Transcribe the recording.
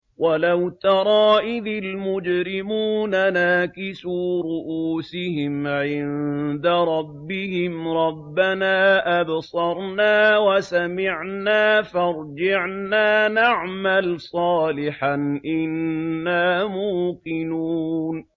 وَلَوْ تَرَىٰ إِذِ الْمُجْرِمُونَ نَاكِسُو رُءُوسِهِمْ عِندَ رَبِّهِمْ رَبَّنَا أَبْصَرْنَا وَسَمِعْنَا فَارْجِعْنَا نَعْمَلْ صَالِحًا إِنَّا مُوقِنُونَ